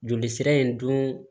Joli sira in dun